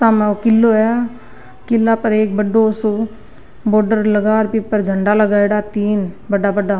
सामे ओ किलो है किला पर एक बड़ो सो बॉडर लगा र बी पर झंडा लगाएडा तीन बड़ा बड़ा।